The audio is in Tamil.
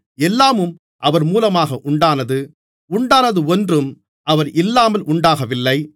எல்லாமும் அவர் மூலமாக உண்டானது உண்டானது ஒன்றும் அவர் இல்லாமல் உண்டாகவில்லை